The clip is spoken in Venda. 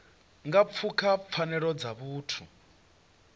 nga pfuka pfanelo dza vhuthu